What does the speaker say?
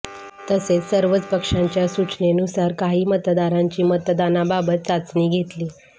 तसेच सर्वच पक्षांच्या सुचनेनुसार काही मतदारांची मतदानाबाबत चाचणी घेतली